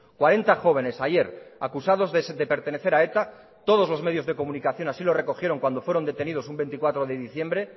cuarenta jóvenes ayer acusados de pertenecer a eta todos los medios de comunicación así lo recogieron cuando fueron detenidos un veinticuatro de diciembre